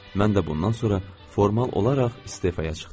Mən də bundan sonra formal olaraq istefaya çıxdım.